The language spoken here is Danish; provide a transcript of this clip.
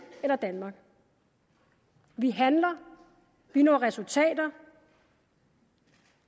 eller danmark vi handler vi når resultater